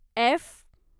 F